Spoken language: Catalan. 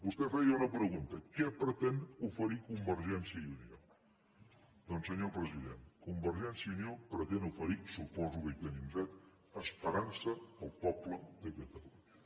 vostè feia una pregunta què pretén oferir convergència i unió doncs senyor president convergència i unió pretén oferir suposo que hi tenim dret esperança al poble de catalunya